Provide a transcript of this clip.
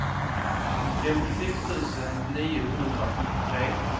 femtiosex tusen niohundrasjuttiotre